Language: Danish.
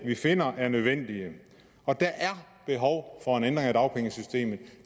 vi finder nødvendige og der er behov for en ændring af dagpengesystemet